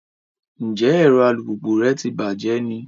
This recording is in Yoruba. Njẹ ẹrọ alupupu rẹ tí bàjé ní?